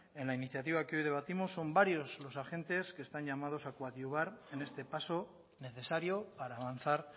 en la iniciativa que hoy debatimos son varios los agentes que están llamados a coadyuvar en este paso necesario para avanzar